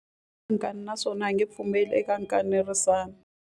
U na nkani naswona a nge pfumeli eka nkanerisano.